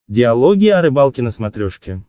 диалоги о рыбалке на смотрешке